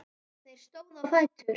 Þeir stóðu á fætur.